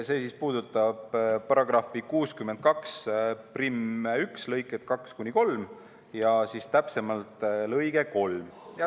See puudutab § 621 lõikeid 2 ja 3, täpsemalt lõiget 3.